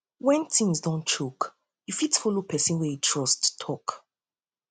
when things don choke you you fit follow person wey you trust talk talk